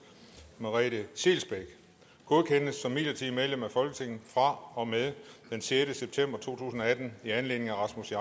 merete scheelsbeck godkendes som midlertidigt medlem af folketinget fra og med den sjette september to tusind og atten i anledning af rasmus